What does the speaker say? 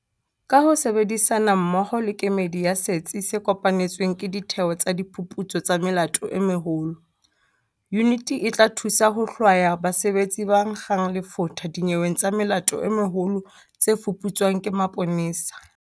Ka ho sebedisana mmoho le kemedi ya Setsi se Kopanetsweng ke Ditheo tsa Diphuputso tsa Melato e Meholo, yuniti e tla thusa ho hlwaya basebetsi ba nkgang lefotha dinyeweng tsa melato e meholo tse fuputswang ke maponesa.